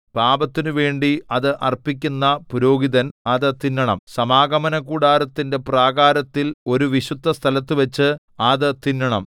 പാപത്തിനുവേണ്ടി അത് അർപ്പിക്കുന്ന പുരോഹിതൻ അത് തിന്നണം സമാഗമനകൂടാരത്തിന്റെ പ്രാകാരത്തിൽ ഒരു വിശുദ്ധസ്ഥലത്തുവച്ച് അത് തിന്നണം